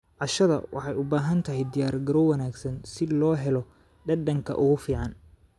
Casho waxay u baahan tahay diyaargarow wanaagsan si loo helo dhadhanka ugu fiican.